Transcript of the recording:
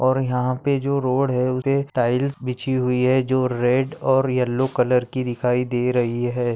और यहा पे जो रोड है उसपे टाइल्स बिछी हुई है जो रेड और येल्लो कलर की दिखाई दे रही है।